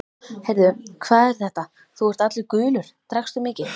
Heyrðu, hvað er þetta, þú ert allur gulur, drakkstu mikið?